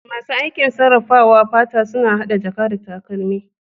Masu aikin sarrafawa fata suna hada jaka da takalmi.